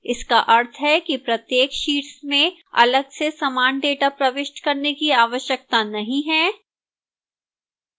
इसका अर्थ है कि प्रत्येक शीट्स में अलग से समान data प्रविष्ट करने की आवश्यकता नहीं है